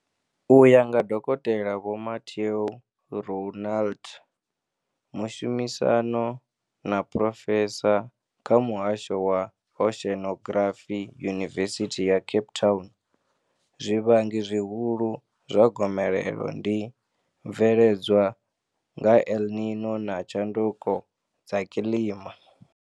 U ya nga Dokotela Vho Mathieu Roualt, mushumisani na phrofesa kha Muhasho wa Oceanography Yunivesithi ya Cape Town, zwivhangi zwihulu zwa gomelelo ndi mveledzwa nga El Nino na tshanduko dza kilima.